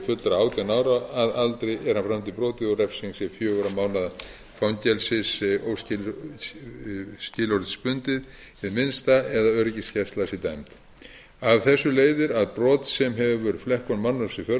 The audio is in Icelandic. fullra átján ára að aðrir er hann framdi brotið og refsing sé fjögurra mánaða fangelsi óskilorðsbundið hið minnsta eða öryggisgæsla sé dæmd af þessu leiðir að brot sem hefur flekkun mannorðs í för